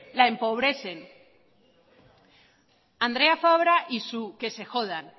la empobrecen andrea fabra y su que se jodan